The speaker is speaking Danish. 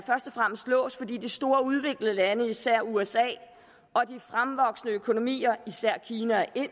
fremmest låst fordi de store udviklede lande især usa og de fremvoksende økonomier især kina og